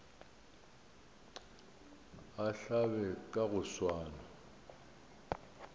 a hlabe ka go swana